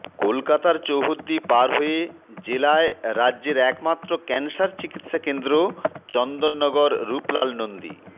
কলকাতার চৌহদ্দি পার হয়ে জেলায় রাজ্যের একমাত্র ক্যানসার চিকিৎসা কেন্দ্র চন্দননগর রূপলাল নন্দী